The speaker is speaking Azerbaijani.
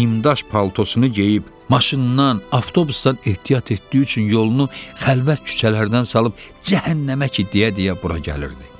nimdaş paltosunu geyib, maşından, avtobusdan ehtiyat etdiyi üçün yolunu xəlvət küçələrdən salıb "cəhənnəmə ki" deyə-deyə bura gəlirdi.